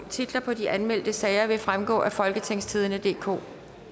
titlerne på de anmeldte sager vil fremgå af folketingstidende DK